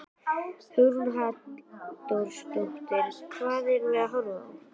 Hugrún Halldórsdóttir: Hvað erum við að horfa á?